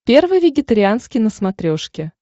первый вегетарианский на смотрешке